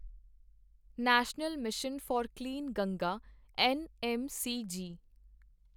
national mission for clean Ganga NMCG